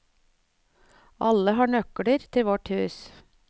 Alle har nøkler til vårt hus.